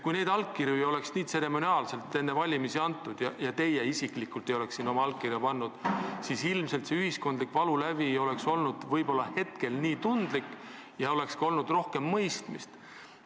Kui neid allkirju ei oleks nii tseremoniaalselt enne valimisi antud ja kui teie isiklikult ei oleks sinna oma allkirja pannud, siis ilmselt poleks ühiskond praegu nii tundlikult reageerinud, oleks olnud rohkem mõistmist.